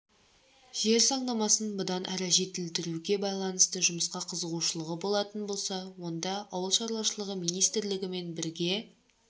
жер заңнамасын бұдан әрі жетілдіруге байланысты жұмысқа қызығушылығы болатын болса онда ауыл шаруашылығы министрлігімен бірге